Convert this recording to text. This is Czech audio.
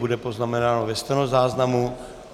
Bude poznamenáno ve stenozáznamu.